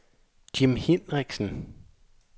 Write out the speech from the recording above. Jim Hinrichsen